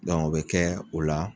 o bɛ kɛ o la